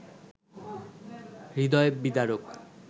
হৃদয় বিদারক